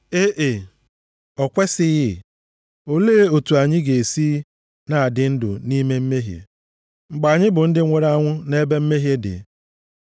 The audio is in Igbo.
E e! O kwesighị! Olee otu anyị ga-esi na-adị ndụ nʼime mmehie, mgbe anyị bụ ndị nwụrụ anwụ nʼebe mmehie dị?